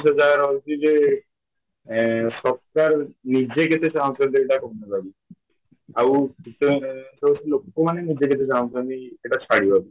ସେ ଜାଗାରେ ରହିଛି ଜେ ଏଁ ସକାଳୁ ନିଜେ କେତେ ଆଉ ଲୋକମାନେ ନିଜେ କେତେ ଜାଣୁଛନ୍ତି ଏଇଟା ଛାଡ଼ିବା ବୋଲି